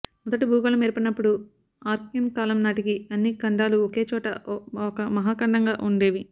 మొదట భూగోళం ఏర్పడినప్పుడు ఆర్కియన్ కాలం నాటికి అన్ని ఖండాలూ ఒకేచోట ఒక మహాఖండంగా ఉండేవి